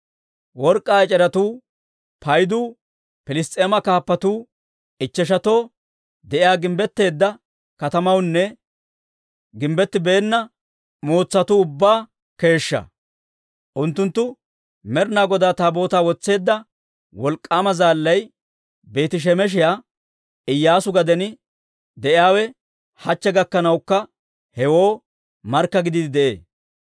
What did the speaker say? Work'k'aa ec'eretuu paydu Piliss's'eema kaappatuu ichcheshatoo de'iyaa gimbbetteedda katamatuunne gimbbettibeenna mootsatuu ubbaa keeshshaa. Unttunttu Med'inaa Godaa Taabootaa wotseedda wolk'k'aama zaallay, Beeti-Shemeshiyaa Iyyaasu gaden de'iyaawe hachche gakkanawukka hewoo markka gidiide de'ee.